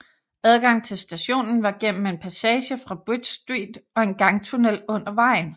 Adgang til stationen var gennem en passage fra Bridge Street og en gangtunnel under vejen